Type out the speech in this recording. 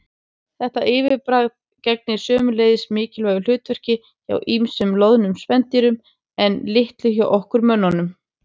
Þetta viðbragð gegnir sömuleiðis mikilvægu hlutverki hjá ýmsum loðnum spendýrum en litlu hjá okkur mönnunum.